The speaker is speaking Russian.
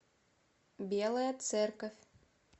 белая церковь